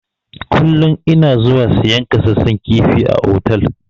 Kullun ina zuwa siyan kasassan kifi a otal.